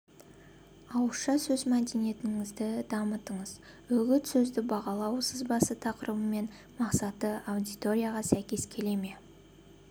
ауызша сөз мәдениетіңізді дамытыңыз үгіт сөзді бағалау сызбасы тақырыбы мен мақсаты аудиторияға сәйкес келе ме